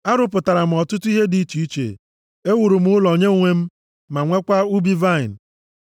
Arụpụtara m ọtụtụ ihe dị iche iche, ewuru m ụlọ nye onwe m ma nweekwa ubi vaịnị.